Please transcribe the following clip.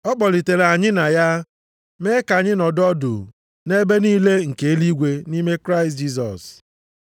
Ọ kpọlitere anyị na ya, mee ka anyị nọdụ ọdụ nʼebe niile nke eluigwe nʼime Kraịst Jisọs.